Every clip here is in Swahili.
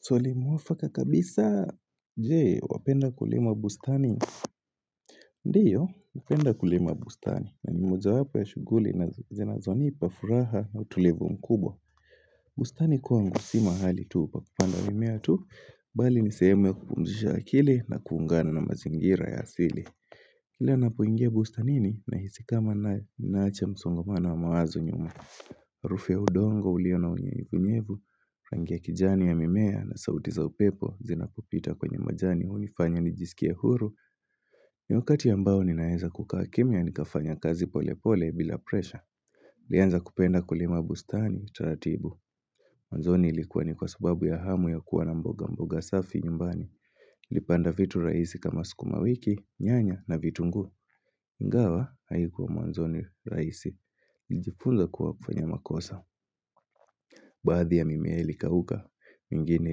Swali mwafaka kabisa je wapenda kulima bustani Ndiyo napenda kulima bustani na ni mojawapo ya shuguli na zinazo nipa furaha na utulivu mkubwa bustani kwangu si mahali tu pakupanda mimea tu bali nisehemu ya kupumzisha akili na kuungana na mazingira ya asili Ila napoingia bustanini nahisi kama ninaacha msongomana wa mawazo nyuma. Arufu ya udongo ulio na unyevu nyevu, rangi ya kijani ya mimea na sauti za upepo zinapopita kwenye majani unifanya nijisikia huru. Ni wakati ambao ninaeza kukaa kimya nikafanya kazi pole pole bila presha. Lianza kupenda kulima bustani, tatibu. Mwanzoni ilikuwa ni kwa subabu ya hamu ya kuwa na mboga mboga safi nyumbani. Niliipanda vitu raisi kama sukuma wiki, nyanya na vitungu. Ingawa, haikuwa mwanzoni raisi Nijifunza kuwa kufanya makosa Baadhi ya mimea ilikauka mingine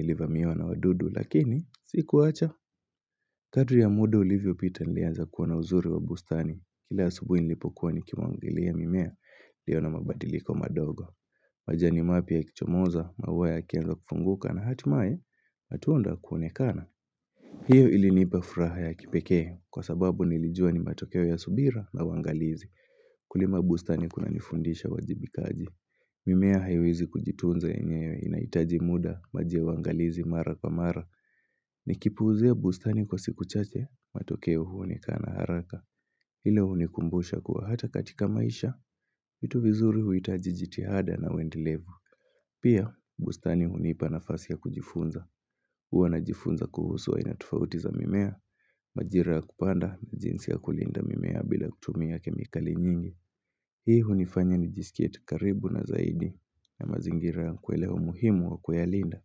ilivamiwa na wadudu Lakini, sikuacha Kadri ya muda ulivyopita nilianza kuwa na uzuri wa bustani Kila asubuhi nilipokuwa nikimwagilia mimea ilio na mabadiliko madogo majani mapya yakichomoza maua yakianza kufunguka na hatimaye matunda yakaonekana hiyo ilinipafuraha ya kipeke Kwa sababu nilijua ni matokeo ya subira na uwwangalizi Kulima bustani kunanifundisha uwajibikaji mimea haiwezi kujitunza yenyewe inaitaji muda ya uwangalizi mara kwa mara ni kipuuzia bustani kwa siku chache matokeo huonekana haraka ile unikumbusha kuwa hata katika maisha vitu vizuri huitaji jitihada na uwendelevu Pia bustani hunipa nafasi ya kujifunza Huwa najifunza kuhusu aina tofauti za mimea Majira ya kupanda na jinsi ya kulinda mimea bila kutumia kemikali nyingi Hii hunifanya ni jisikie tu karibu na zaidi ya mazingira ya nakuelewa muhimu wa kuyalinda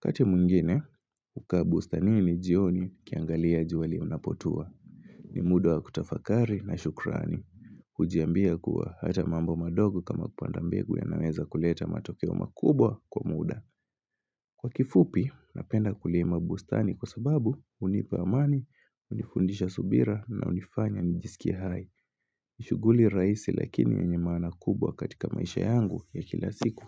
wakati mwingine, hukaa bustanini jioni nikiangalia jua linapotua ni muda wa kutafakari na shukrani hujiambia kuwa hata mambo madogo kama kupanda mbegu yanaweza kuleta matokeo makubwa kwa muda Kwa kifupi, napenda kulima bustani kwa sababu hunipa amani, hunifundisha subira na hunifanya nijisikie hai ni shuguli rahisi lakini yenye maana kubwa katika maisha yangu ya kila siku.